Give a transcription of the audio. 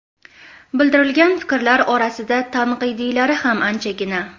Bildirilgan fikrlar orasida tanqidiylari ham anchagina.